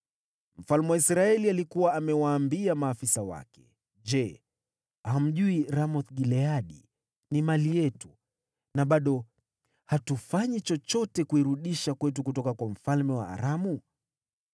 Mfalme wa Israeli alikuwa amewaambia maafisa wake, “Je, hamjui Ramoth-Gileadi ni mali yetu na bado hatufanyi chochote kuirudisha kwetu kutoka kwa mfalme wa Aramu?”